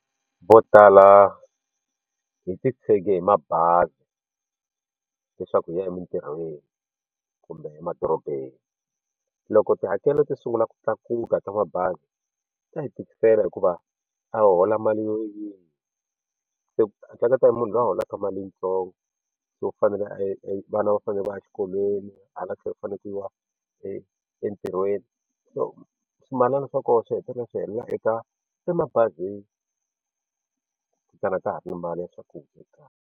Vo tala hi titshege hi mabazi leswaku hi ya emitirhweni kumbe emadorobeni loko tihakelo ti sungula ku tlakuka ka mabazi ta hi tikisela hikuva a ho hola mali yo yini se ehleketa hi munhu loyi a holaka mali yitsongo so fanele vana va fanele va ya exikolweni hala tlhelo ku fanekele ku yiwa entirhweni so swimalana swa kona swi hetelela swi helela eka emabazini ku sala ka ha ri na mali ya swakudya ekaya.